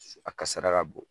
A kasara ka bon.